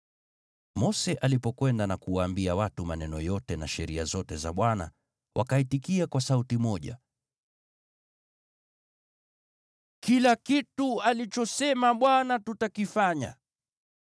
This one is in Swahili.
Mose alipokwenda na kuwaambia watu maneno yote na sheria zote za Bwana , wakaitikia kwa sauti moja, “Kila kitu alichosema Bwana tutakifanya.”